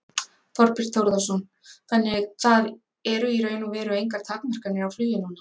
Þorbjörn Þórðarson: Þannig að það eru í raun og veru engar takmarkanir á flugi núna?